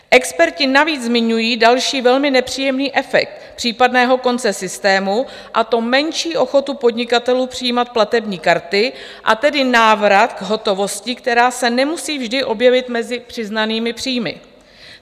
Experti navíc zmiňují další velmi nepříjemný efekt případného konce systému, a to menší ochotu podnikatelů přijímat platební karty, a tedy návrat k hotovosti, která se nemusí vždy objevit mezi přiznanými příjmy.